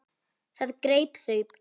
Það greip þau æði.